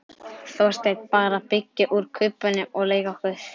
Þorsteinn: Bara að byggja úr kubbunum og leika okkur.